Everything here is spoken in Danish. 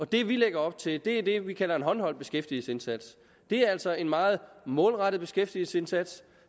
det vi lægger op til er det vi kalder en håndholdt beskæftigelsesindsats og det er altså en meget målrettet beskæftigelsesindsats